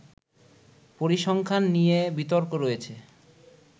পরিসংখ্যান নিয়ে বিতর্ক রয়েছে